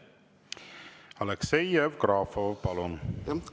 Aleksei Jevgrafov, palun!